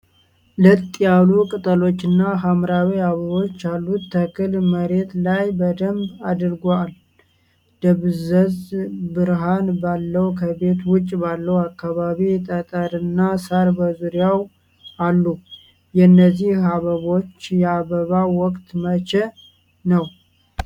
ለጥ ያሉ ቅጠሎችና ሐምራዊ አበቦች ያሉት ተክል መሬት ላይ በደንብ አድጓል። ደብዛዛ ብርሃን ባለው ከቤት ውጭ ባለው አካባቢ ጠጠርና ሣር በዙሪያው አሉ። የእነዚህ አበቦች የአበባ ወቅት መቼ ነው?